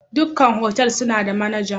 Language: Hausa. Ɗukan otal suna da manaja.